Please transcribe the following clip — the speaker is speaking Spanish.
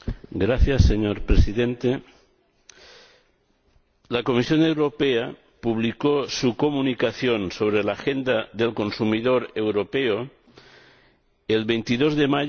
Señor Presidente, la Comisión Europea publicó su Comunicación sobre una Agenda del Consumidor Europeo el 22 de mayo de